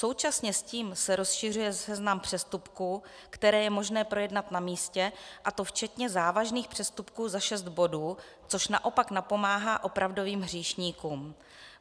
Současně s tím se rozšiřuje seznam přestupků, které je možné projednat na místě, a to včetně závažných přestupků za šest bodů, což naopak napomáhá opravdovým hříšníkům.